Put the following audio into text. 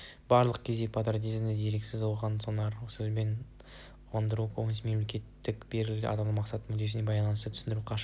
барлық кезде патриотизмді дерексіз ұзақ-сонар сөзбен ұғындырудан көбінесе мемлекетке берілген адамның мақсат-мүддесімен байланыссыз түсіндіруден қашу